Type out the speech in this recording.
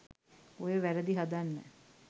ඔය වැරදි හදන්න